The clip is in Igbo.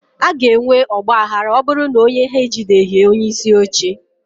a ga-enwe ọgba aghara ma ọ bụrụ na onye ha ejideghị onyeisi oche